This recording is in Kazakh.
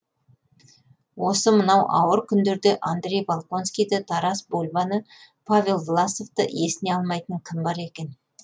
осы мынау ауыр күндерде андрей болконскийді тарас бульбаны павел власовты есіне алмайтын кім бар екен